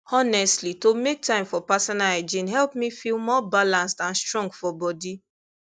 honestly to make time for personal hygiene help me feel more balanced and strong for body